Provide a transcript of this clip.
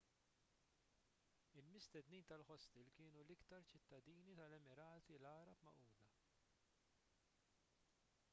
il-mistednin tal-ħostel kienu l-iktar ċittadini tal-emirati għarab magħquda